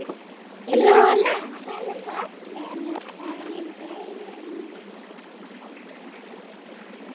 Rola varð fallegri með hverjum deginum.